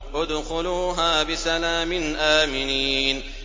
ادْخُلُوهَا بِسَلَامٍ آمِنِينَ